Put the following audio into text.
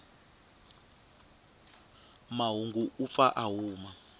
mahungu u pfa a huma